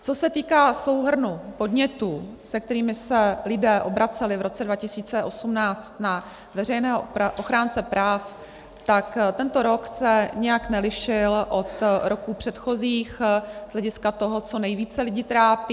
Co se týká souhrnu podnětů, se kterými se lidé obraceli v roce 2018 na veřejného ochránce práv, tak tento rok se nijak nelišil od roků předchozích z hlediska toho, co nejvíce lidi trápí.